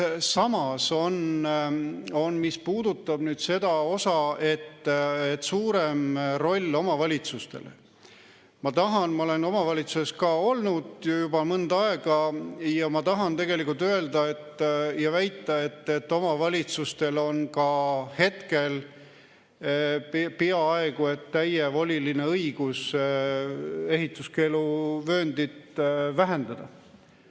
Samas, mis puudutab nüüd eesmärki anda suurem roll omavalitsustele, siis ma olen omavalitsuses olnud juba mõnda aega ja tahan tegelikult väita, et omavalitsustel on ka praegu peaaegu täievoliline õigus ehituskeeluvööndit vähendada.